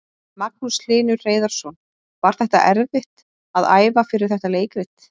Magnús Hlynur Hreiðarsson: Var þetta erfitt að æfa fyrir þetta leikrit?